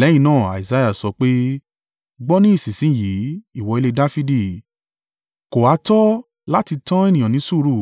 Lẹ́yìn náà Isaiah sọ pé, “Gbọ́ ní ìsinsin yìí, ìwọ ilé Dafidi, kò ha tọ́ láti tán ènìyàn ní sùúrù,